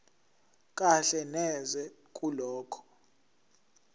kahle neze kulokho